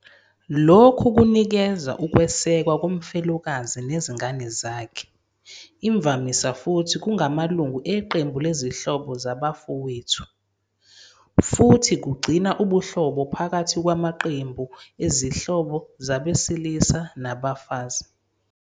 Lokhu kunikeza ukwesekwa komfelokazi nezingane zakhe, imvamisa futhi kungamalungu eqembu lezihlobo zabafowethu, futhi kugcina ubuhlobo phakathi kwamaqembu ezihlobo zabesilisa nabafazi.